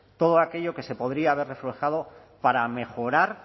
todo aquello que se podría haber reflejado para mejorar